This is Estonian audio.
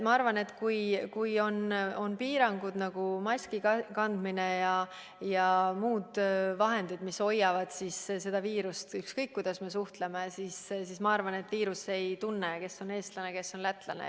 Ma arvan, et kui on piirangud, nagu maski kandmine ja muud reeglid, mis hoiavad viirust tagasi, siis ükskõik, kuidas me suhtleme, viirus ei tunne, kes on eestlane, kes on lätlane.